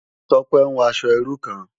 Tope n wò aṣò irú kán